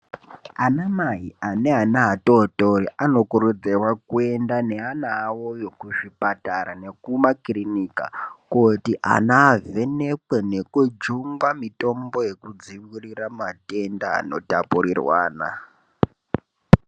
Anamai ane ana atotori, anokurudzirwa kuenda neana awoyo kuzvipatara nekumakirinika kooti anayo avhenekwe nekujungwa mitombo yekudziirira matenda anotapurirwana.